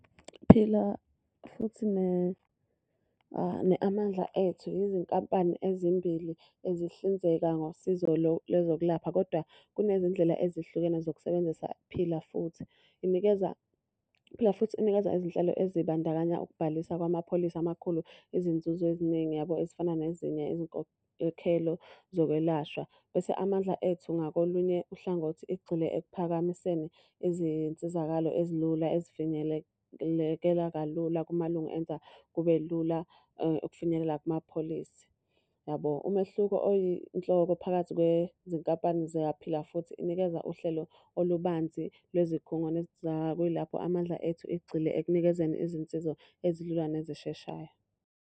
Phila Futhi ne ne-Amandla Ethu yizinkampani ezimbili ezihlinzeka ngosizo lwezokulapha, kodwa kunezindlela ezihlukene zokusebenzisa Phila Futhi. Inikeza, iPhila Futhi inikeza izinhlelo ezibandakanya ukubhalisa kwamapholisi amakhulu izinzuzo eziningi yabo ezifana nezinye izinkokhelo zokwelashwa. Bese Amandla Ethu ngakolunye uhlangothi igxile ekuphakamiseni izinsizakalo ezilula ezifinyeleleka kalula kumalungo enza kube lula ukufinyelela kumapholisi yabo. Umehluko oyinhloko phakathi kwezinkampani zikaPhila Futhi inikeza uhlelo olubanzi lwezikhungo kuyilapho Amandla Ethu egxile ekunikezeni izinsiza ezilula nezisheshayo.